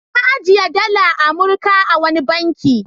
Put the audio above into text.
Na ajiye dalar Amurka a wani banki.